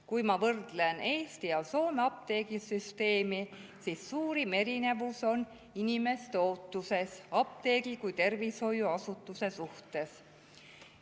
Kui ma võrdlen Eesti ja Soome apteegisüsteemi, siis näen, et suurim erinevus on inimeste ootuses apteegi kui tervishoiuasutuse suhtes.